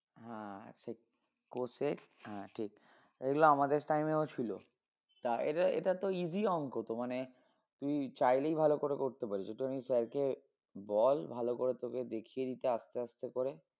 cosec আহ ঠিক এগুলো আমাদের time এও ছিল তা এটা~এটার তো easy অংক তো মানে তুই চাইলেই ভালো করে করতে পারিস একটুখানি sir কে বল ভালো করে তোকে দেখিয়ে দিতে আসতে আসতে করে